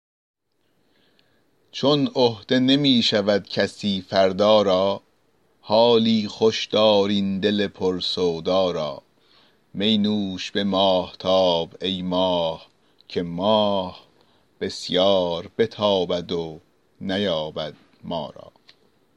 چون عهده نمی شود کسی فردا را حالی خوش دار این دل پر سودا را می نوش به ماهتاب ای ماه که ماه بسیار بتابد و نیابد ما را